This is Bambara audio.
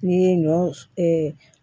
N'i ye ɲɔ s